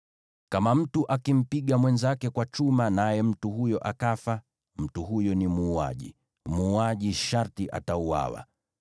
“ ‘Kama mtu akimpiga mwenzake kwa chuma naye mtu huyo akafa, mtu huyo ni muuaji; muuaji sharti atauawa.